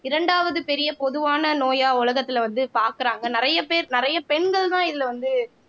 இரண்டாவது பெரிய பொதுவான நோயா உலகத்துல வந்து பாக்குறாங்க நிறைய பேர் நிறைய பெண்கள்தான் இதுல வந்து